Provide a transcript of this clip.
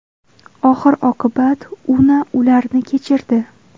Oxir oqibat Una ularni kechirdi .